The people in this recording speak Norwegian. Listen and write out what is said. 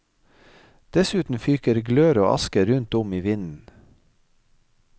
Dessuten fyker glør og aske rundt om i vinden.